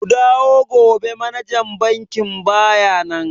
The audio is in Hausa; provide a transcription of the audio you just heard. Ku dawo gobe manajan bankin baya nan.